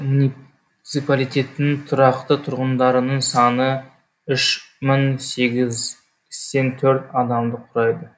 муниципалитеттің тұрақты тұрғындарының саны үш мың сегізсен төрт адамды құрайды